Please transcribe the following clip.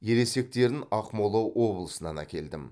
ересектерін ақмола облысынан әкелдім